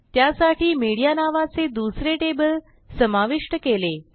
त्यासाठी मीडिया नावाचे दुसरे टेबल समाविष्ट केले